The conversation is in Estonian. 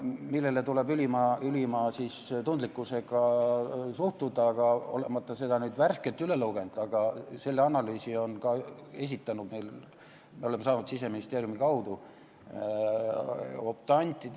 ... millesse tuleb ülima tundlikkusega suhtuda, aga me oleme saanud selle analüüsi Siseministeeriumi kaudu.